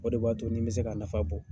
O de b'a to ni n bɛ se k'a nafa bɔ.